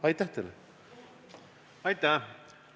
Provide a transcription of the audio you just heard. Aitäh!